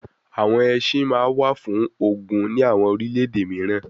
Awọn ẹṣin ma wa fun ogun ni awọn orilẹ-ede miiran